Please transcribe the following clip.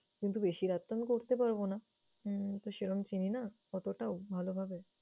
কিন্তু বেশি রাত তো আমি করতে পারবো না। উম তো সেরকম চিনি না, অতটাও ভালোভাবে।